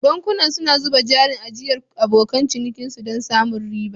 Bankunan suna zuba jarin ajiyar abokan cinikinsu don samun riba.